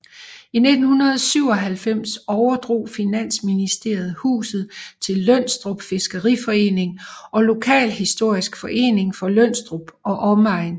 I 1997 overdrog Finansministeriet huset til Lønstrup Fiskeriforening og Lokalhistorisk Forening for Lønstrup og Omegn